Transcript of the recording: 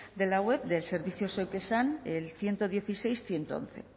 de la web del servicio zeuk esan el ciento dieciséis mil ciento once